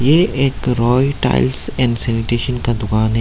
ये एक Roy tiles and sanitation का दुकान है।